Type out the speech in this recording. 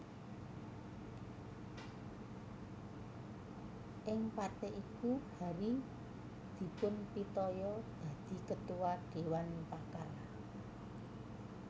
Ing partai iku Hary dipunpitaya dadi Ketua Dewan Pakar